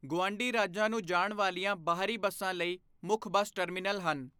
ਗੁਆਂਢੀ ਰਾਜਾਂ ਨੂੰ ਜਾਣ ਵਾਲੀਆਂ ਬਾਹਰੀ ਬੱਸਾਂ ਲਈ ਮੁੱਖ ਬੱਸ ਟਰਮੀਨਲ ਹਨ।